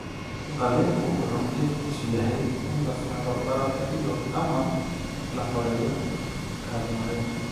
Qalliinku wuxuu ujeedkiisu yahay in la saaro bararka iyo/ama la xoreeyo kaadi-mareenka.